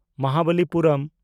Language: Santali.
ᱢᱚᱦᱟᱵᱟᱞᱤᱯᱩᱨᱚᱢ (ᱢᱟᱢᱟᱞᱞᱯᱩᱨᱚᱢ)